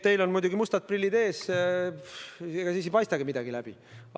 Teil on muidugi mustad prillid ees, sealt ei paista midagi läbi.